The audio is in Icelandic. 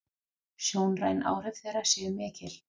Sjónræn áhrif þeirra séu mikil.